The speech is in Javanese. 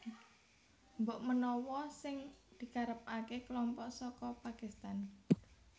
Mbok menawa sing dikarepaké kelompok saka Pakistan